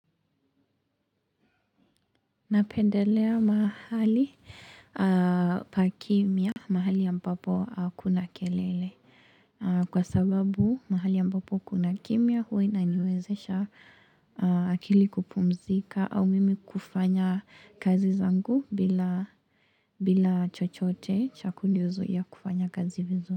Napendelea mahali pa kimia, mahali ambapo hakuna kelele, kwa sababu mahali ambapo kuna kimia huwa inaniwezesha akili kupumzika au mimi kufanya kazi zangu bila bila chochote cha kunizuia kufanya kazi vizu.